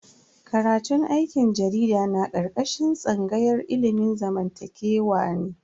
Karatun aikin jarida na karkashin tsangayar ilimin zamantakewa ne.